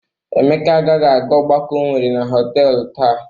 Emeka agaghị aga ọgbakọ o nwere na họtelụ taa.